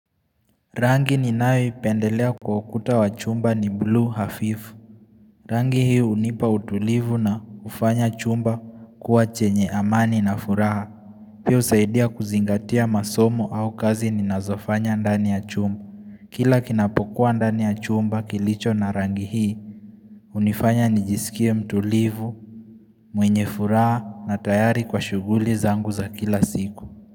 Rangi ninayoipendelea kwa ukuta wa chumba ni blue hafifu Rangi hii hunipa utulivu na kufanya chumba kuwa chenye amani na furaha Pia husaidia kuzingatia masomo au kazi ninazofanya ndani ya chumba Kila kinapokuwa ndani ya chumba kilicho na rangi hii hunifanya nijisikia mtulivu mwenye furaha na tayari kwa shughuli zangu za kila siku.